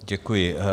Děkuji.